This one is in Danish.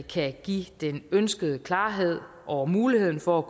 kan give den ønskede klarhed om muligheden for at